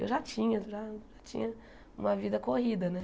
Eu já tinha, já tinha uma vida corrida, né?